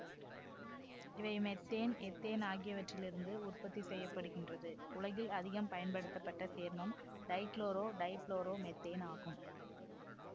இவை methane ethane ஆகியவற்றிலிருந்து உற்பத்தி செய்ய படுகின்றது உலகில் அதிகம் பயன்படுத்தப்பட்ட சேர்மம் டைக்குளோரோடைபுளோரோமெத்தேன் ஆகும்